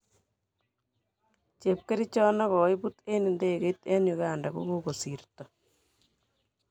Chepkerichot nekoibut eng idegeit eng Uganda kokosirto.